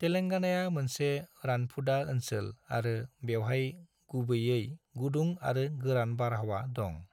तेलेंगानाया मोनसे रानफुदा ओनसोल आरो बेवहाय गुबैयै गुदुं आरो गोरान बारहावा दं।